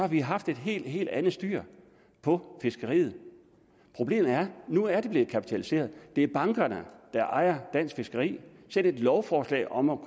vi haft et helt helt andet styr på fiskeriet problemet er at nu er det blevet kapitaliseret det er bankerne der ejer dansk fiskeri selv et lovforslag om at